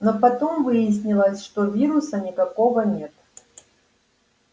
но потом выяснилось что вируса никакого нет